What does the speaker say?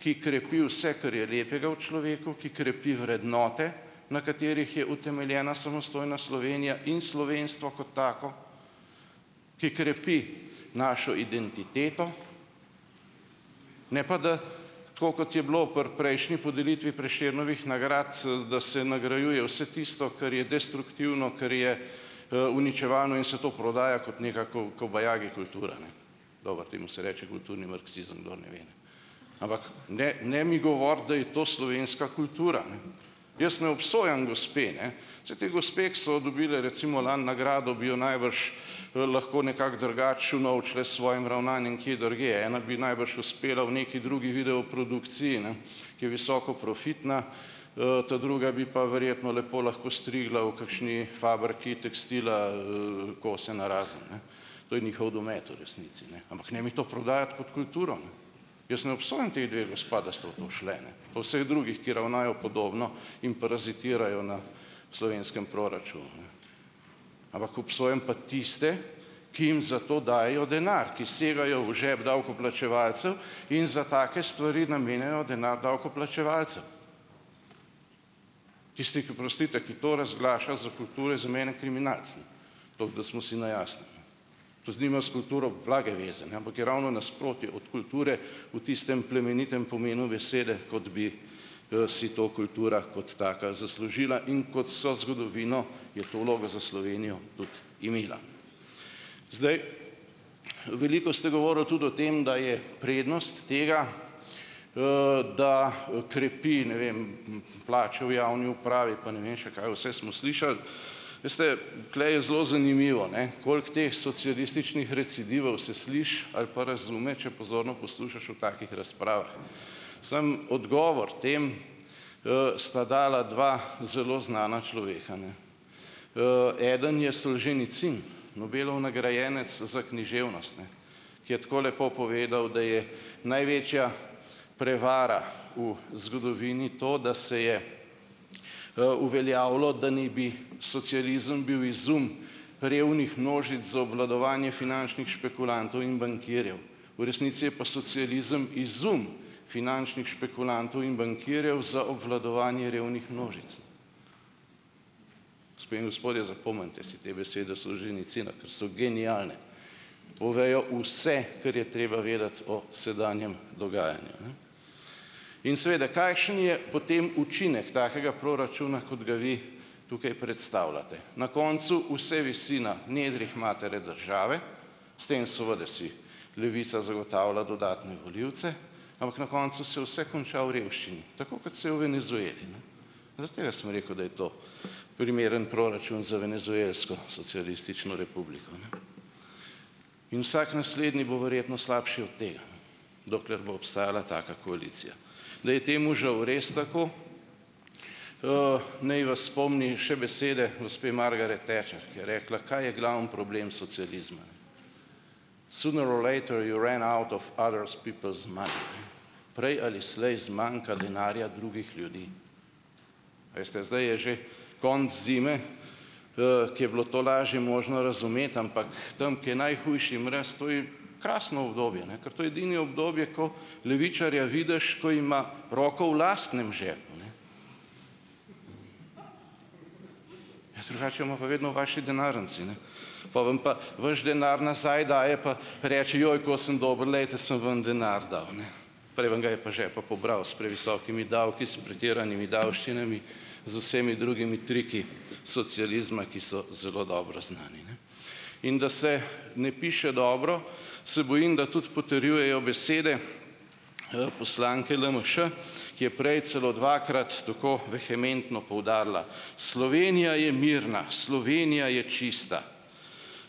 ki krepi vse, kar je lepega v človeku, ki krepi vrednote, na katerih je utemeljena samostojna Slovenija in slovenstvo kot tako, ki krepi našo identiteto, ne pa da, tako kot je bilo pri prejšnji podelitvi Prešernovih nagrad, da se nagrajuje vse tisto, kar je destruktivno, kar je uničevano, in se to prodaja kot neka kobajagi kultura, ne, dobro temu se reče kulturni marksizem, kdor ne ve, ne, ampak ne ne mi govoriti, da je to slovenska kultura, jaz ne obsojam gospe, ne, saj te gospe, ki so dobile recimo lani nagrado, bi jo najbrž lahko nekako drugače unovčile s svojim ravnanjem kje drugje, ena bi najbrž uspela v neki drugi videoprodukciji, ne, ki je visoko profitna, ta druga bi pa verjetno lepo lahko strigla v kakšni fabriki tekstila kose narazen, ne, to je njihov domet v resnici, ne, ampak ne mi to prodajati kot kulturo, ne, jaz ne obsojam teh dveh gospa, da sta v to šle, ne, po vseh drugih, ki ravnajo podobno in parazitirajo na slovenskem proračunu, ne, ampak obsojam pa tiste, ki jim za to dajejo denar, ki segajo v žep davkoplačevalcev in za take stvari namenjajo denar davkoplačevalcev, tisti, oprostite, ki to razglaša za kulturo, je za mene kriminalec, ne, toliko, da smo si na jasnem, ne, to nima s kulturo blage veze, ne, ampak je ravno nasprotje od kulture v tistem plemenitem pomenu besede, kot bi si to kultura kot taka zaslužila in kot so zgodovino je to vlogo za Slovenijo tudi imela. Zdaj, veliko ste govorili tudi o tem, da je prednost tega, da krepi, ne vem, plače v javni upravi, pa ne vem še, kaj vse smo slišali, veste, tule je zelo zanimivo, ne, koliko teh socialističnih recidivov se sliši ali pa razume, če pozorno poslušaš v takih razpravah, samo odgovor tem, sta dala dva zelo znana človeka, ne, eden je Solženicin, Nobelov nagrajenec za književnost, ne, ki je tako lepo povedal, da je največja prevara v zgodovini to, da se je uveljavilo, da naj bi socializem bil izum revnih množic za obvladovanje finančnih špekulantov in bankirjev, v resnici je pa socializem izum finančnih špekulantov in bankirjev za obvladovanje revnih množic, gospe in gospodje, zapomnite si te besede Solženicina, ker so genialne, povejo vse, kar je treba vedeti o sedanjem dogajanju, ne, in seveda kakšen je potem učinek takega proračuna, kot ga vi tukaj predstavljate, na koncu vse visi na nedrjih matere države, s tem seveda si Levica zagotavlja dodatne volivce, ampak na koncu se vse konča v revščini, tako kot se je v Venezueli, ne, zaradi tega sem rekel, da je to primeren proračun za venezuelsko socialistično republiko, in vsak naslednji bo verjetno slabši od tega, ne, dokler bo obstajala taka koalicija, da je temu žal res tako. Naj vas spomnim še besede gospe Margaret Thatcher, ki je rekla, kaj je glavni problem socializma. Sooner or later you run out of other's people's mind, ne, prej ali slej zmanjka denarja drugih ljudi. Veste, zdaj je že konec zime, ki je bilo to lažje možno razumeti, ampak tam, ki je najhujši mraz, to je krasno obdobje, ker to je edino obdobje, ko levičarja vidiš, ko ima roko v lastnem žepu, ne, ja, drugače jo ima pa vedno v vaši denarnici, ne, po vam pa boš denar nazaj daje pa reče: "Joj, ko sem dobil, glejte, sem vam denar dal, ne." Prej vam ga je pa žepa pobral s previsokimi davki, s pretiranimi davščinami, z vsemi drugimi triki socializma, ki so zelo dobro znani, ne, in da se ne piše dobro, se bojim, da tudi potrjujejo besede poslanke LMŠ, ki je prej celo dvakrat tako vehementno poudarila: "Slovenija je mirna, Slovenija je čista,